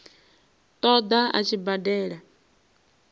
ṱo ḓa a tshi badela